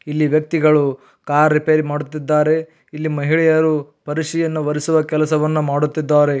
ಇಲ್ಲಿ ವ್ಯಕ್ತಿಗಳು car repair ಮಾಡುತ್ತಿದ್ದಾರೆ ಇಲ್ಲಿ ಮಹಿಳೆಯರು ಪರಶಿಯನ್ನು ಒರೆಸುವ ಕೆಲಸವನ್ನು ಮಾಡುತ್ತಿದ್ದಾರೆ.